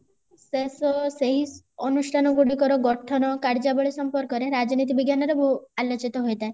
ଶେଷ ସେଇ ଅନୁଷ୍ଠାନ ଗୁଡିକର ଗଠନ କାର୍ଯ୍ୟାବଳୀ ସମ୍ପର୍କରେ ରାଜନୀତି ବିଜ୍ଞାନ ର ଆଲୋଚିତ ହୋଇ ଥାଏ